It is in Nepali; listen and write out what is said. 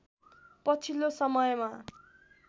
पछिल्लो समयमा